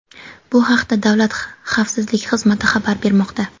Bu haqda Davlat xavfsizlik xizmati xabar bermoqda.